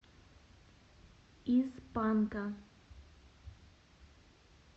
из панка